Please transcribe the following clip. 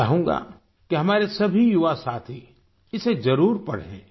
मैं चाहूँगा कि हमारे सभी युवासाथी इसे जरुर पढ़ें